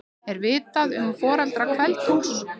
Er vitað um foreldra Kveld-Úlfs?